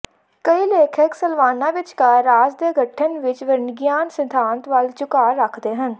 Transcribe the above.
ਕਈ ਲੇਖਕ ਸਲਵਾਨਾਂ ਵਿਚਕਾਰ ਰਾਜ ਦੇ ਗਠਨ ਵਿੱਚ ਵਰਨਗਿਆਨ ਸਿਧਾਂਤ ਵੱਲ ਝੁਕਾਅ ਰੱਖਦੇ ਹਨ